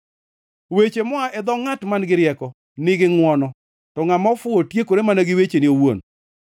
Weche moa e dho ngʼat man-gi rieko nigi ngʼwono, to ngʼama ofuwo tiekore mana gi wechene owuon.